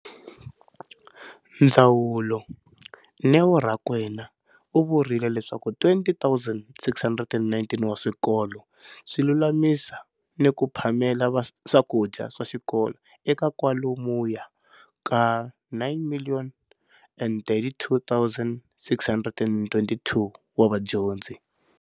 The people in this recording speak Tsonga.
Ndzawulo, Neo Rakwena, u vurile leswaku 20 619 wa swikolo swi lulamisa ni ku phamela swakudya swa xikolo eka kwalomuya ka 9 032 622 wa vadyondzi.